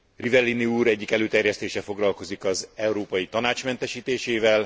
Rivellini úr egyik előterjesztése foglalkozik az Európai Tanács mentesítésével.